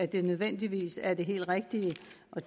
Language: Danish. det nødvendigvis er det helt rigtige